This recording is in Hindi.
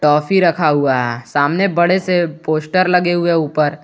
टॉफी रखा हुआ है सामने बड़े से पोस्टर लगे हुए है ऊपर।